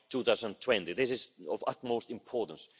by 2020. This is of utmost importance.